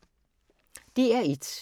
DR1